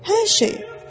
Hər şeyi.